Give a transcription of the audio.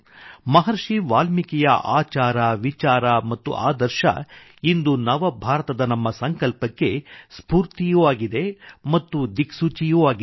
ಮಹರ್ಷಿ ವಾಲ್ಮೀಕಿಯ ಆಚಾರ ವಿಚಾರ ಮತ್ತು ಆದರ್ಶ ಇಂದು ನವ ಭಾರತದ ನಮ್ಮ ಸಂಕಲ್ಪಕ್ಕೆ ಸ್ಫೂರ್ತಿಯೂ ಆಗಿದೆ ಮತ್ತು ದಿಕ್ಸೂಚಿಯೂ ಆಗಿದೆ